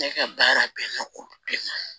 Ne ka baara bɛnnen ko bɛɛ ma